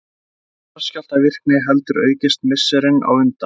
Þá hafði jarðskjálftavirkni heldur aukist misserin á undan.